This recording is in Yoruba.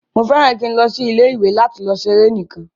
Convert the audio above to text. Mo fẹràn ki n lọ sí ilé ìwé lati lọ ṣeré nikan.